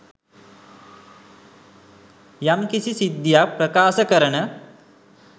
යම් කිසි සිද්ධියක් ප්‍රකාශ කරන